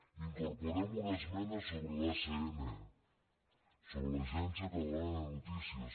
incorporem una esmena sobre l’acn sobre l’agència catalana de notícies